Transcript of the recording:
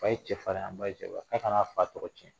A ye cɛ farin ba in sewa a kana fa tɔgɔ tiɲɛ.